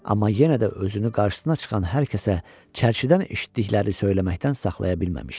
Amma yenə də özünü qarşısına çıxan hər kəsə çərçidən eşitdikləri söyləməkdən saxlaya bilməmişdi.